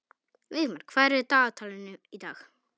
Vígmar, hvað er á dagatalinu í dag?